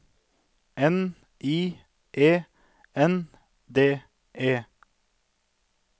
N I E N D E